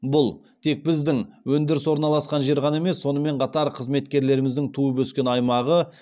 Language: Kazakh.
бұл тек біздің өндіріс орналасқан жер ғана емес сонымен қатар қызметкерлеріміздің туып өскен аймағы